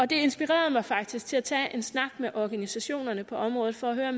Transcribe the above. det inspirerede mig faktisk til at tage en snak med organisationerne på området for at høre